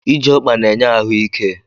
Ije ọkpa na-enye ahụ ike